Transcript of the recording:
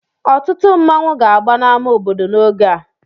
Ọtụtụ nmanwu ga-agba na ama obodo n'oge a.